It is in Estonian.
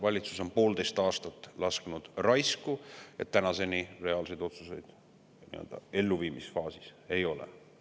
Valitsus on poolteist aastat raisku lasknud, sest tänaseni reaalseid otsuseid elluviimisfaasis ei ole.